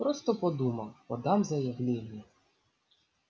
просто подумал подам заявление